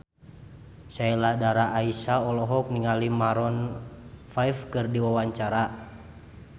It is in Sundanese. Sheila Dara Aisha olohok ningali Maroon 5 keur diwawancara